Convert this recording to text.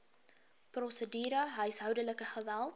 prosedure huishoudelike geweld